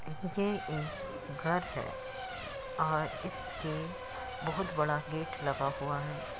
ये एक घर है और इसके बहोत बड़ा गेट लगा हुआ है।